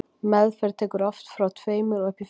meðferð tekur oft frá tveimur og upp í fimm ár